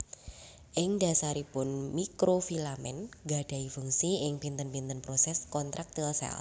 Ing dasaripun Mikrofilamen gadahi fungsi ing pinten pinten proses kontraktil sel